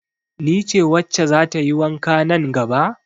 Ni ce wacce za ta yi wanka nan gaba?